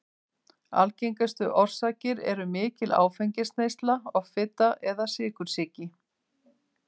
Algengustu orsakir eru mikil áfengisneysla, offita eða sykursýki.